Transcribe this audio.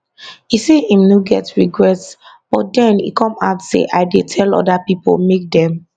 e say im no get regrets but den e come add say i dey tell oda pipo make dem